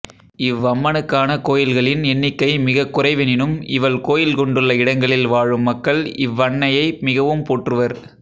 இவ்வம்மனுக்கான கோவில்களின் எண்ணிக்கை மிகக்குறைவெனினும் இவள் கோவில் கொண்டுள்ள இடங்களில் வாழும் மக்கள் இவ்வன்னையை மிகவும் போற்றுவர்